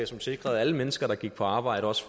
som sikrede at alle mennesker der gik på arbejde også